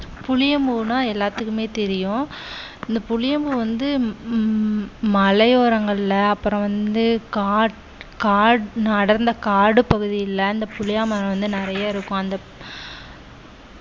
புளியம்பூன்னா எல்லாத்துக்குமே தெரியும் இந்த புளியம்பூ வந்து ம்~ மலையோரங்கள்ல அப்புறம் வந்து காட்~ காட்~ அடர்ந்த காடு பகுதியில இந்த புளிய மரம் வந்து நிறைய இருக்கும் அந்த